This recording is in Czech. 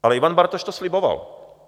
Ale Ivan Bartoš to sliboval.